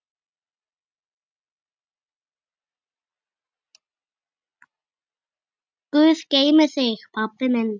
Guð geymi þig, pabbi minn.